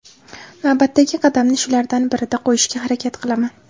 Navbatdagi qadamni shulardan birida qo‘yishga harakat qilaman.